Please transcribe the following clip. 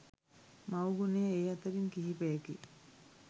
මව් ගුණය ඒ අතරින් කිහිපයකි